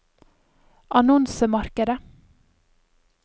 annonsemarkedet